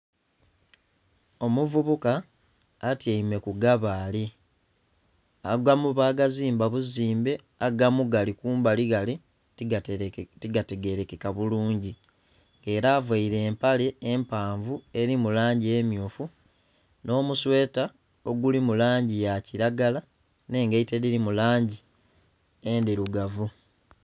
Omuvubuka atyaime ku ggabaale, aggamu bagazimba buzimbe aggamu gali kumbali ghale tiga tegerekeka bulungi era avaire empale empaavu eri mu langi emyufu nho mu sweeta oguli mu langi ya kilagala nhe engaito edhili mu langi endhirugavu.